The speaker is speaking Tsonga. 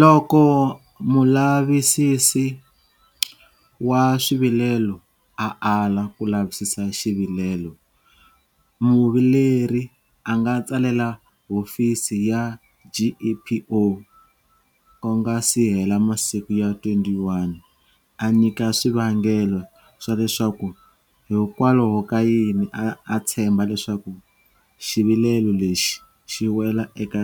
Loko Mulavisisi wa Swivilelo a ala ku lavisisa xivilelo, muvileri a nga tsalela hofisi ya GEPO ku nga si hela masiku ya 21 a nyika swivangelo swa leswaku hikwalahokayini a tshemba leswaku xivilelo lexi xi wela eka